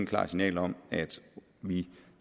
klart signal om at vi